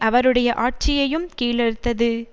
அவருடைய ஆட்சியையும் கீழறுத்தது